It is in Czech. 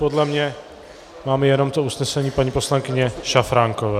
Podle mě máme jenom to usnesení paní poslankyně Šafránkové.